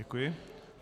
Děkuji.